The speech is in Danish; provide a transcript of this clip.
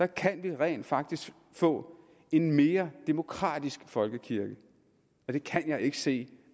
kan vi rent faktisk få en mere demokratisk folkekirke og det kan jeg ikke se